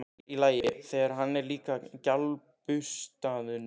Sér í lagi, þegar hann er líka á gljáburstuðum skóm.